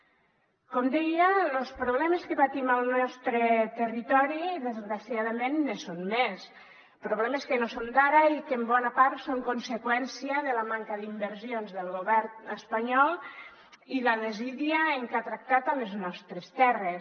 com deia los problemes que patim al nostre territori desgraciadament ne són més problemes que no són d’ara i que en bona part són conseqüència de la manca d’inversions del govern espanyol i la desídia amb que ha tractat les nostres terres